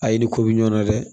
A ye ni ko bi ɲɔn na dɛ